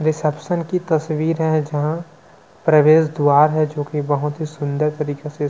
reception की तस्वीर है जहाँ प्रवेश द्वार है जो की बहुत ही सुंदर तरीके से--